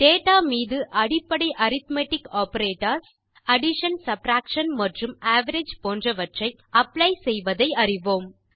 data மீது அடிப்படை arithmetic operators addition subtraction மற்றும் அவரேஜ் போன்றவற்றை அப்ளை செய்வதை அறிவோம்